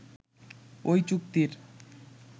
ওই চুক্তির